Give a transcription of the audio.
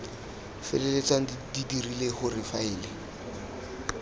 feleltsang di dirile gore faele